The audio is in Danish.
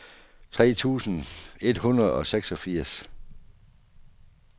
tre tusind et hundrede og seksogfirs